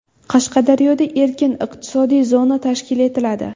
Qashqadaryoda erkin iqtisodiy zona tashkil etiladi.